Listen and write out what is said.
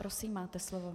Prosím, máte slovo.